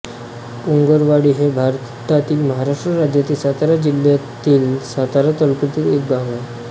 पोगरवाडी हे भारतातील महाराष्ट्र राज्यातील सातारा जिल्ह्यातील सातारा तालुक्यातील एक गाव आहे